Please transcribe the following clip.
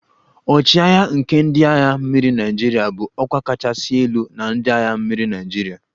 "" Ochiagha nke ndị agha mmiri Naịjirịa bụ ọkwa kachasị elu na ndị agha mmiri Naịjirịa"